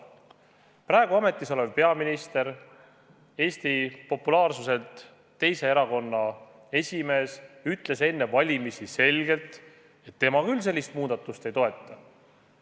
Praegu ametis olev peaminister, Eesti populaarsuselt teise erakonna esimees ütles enne valimisi selgelt, et tema küll sellist muudatust ei toeta.